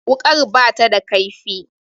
Wuƙar ba ta da ƙaifi